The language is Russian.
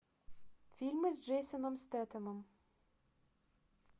фильмы с джейсоном стетхемом